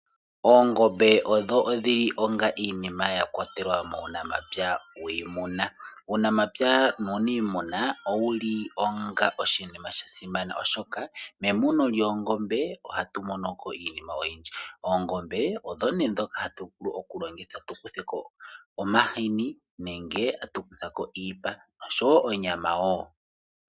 Oongombe odho odhili onga iinima yakwatelwa muunamapya wiimuna. Uunamapya nuuniimuna owu li onga oshinima sha simana, oshoka memuno lyoongombe ohatu monoko iinima oyindji. Oongombe odho ne ndhoka hatu vulu okulongitha tu kuthe ko omahini nenge atu kutha ko iipa noshowo onyama wo.